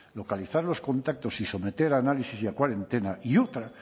localizar los contactos y someter a análisis y a cuarentena y otra